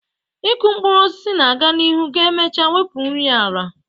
Ịkụ mkpụrụ osisi na-aga n'ihu ga-emecha wepụ nri ala